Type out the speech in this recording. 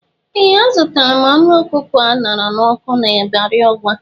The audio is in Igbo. Ee! Azụtara m anụ ọkụkọ a ṅara n'ọkụ n'Ibari Ọgwa.